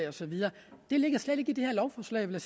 og så videre det ligger slet ikke i det her lovforslag vil